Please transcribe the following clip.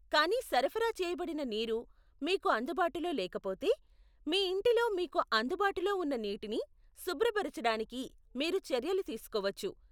కానీ సరఫరా చేయబడిన నీరు మీకు అందుబాటులో లేకపోతే, మీ ఇంటిలో మీకు అందుబాటులో ఉన్న నీటిని శుభ్రపరచడానికి మీరు చర్యలు తీసుకోవచ్చు.